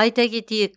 айта кетейік